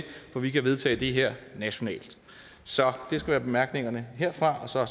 for vi kan vedtage det her nationalt så det skulle være bemærkningerne herfra og så